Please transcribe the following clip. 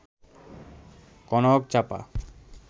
কনকচাপা